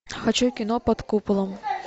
хочу кино под куполом